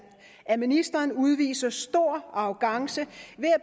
at ministeren udviser stor arrogance